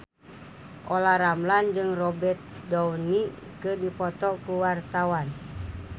Olla Ramlan jeung Robert Downey keur dipoto ku wartawan